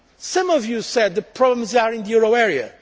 Some of you said the problems are in the euro area.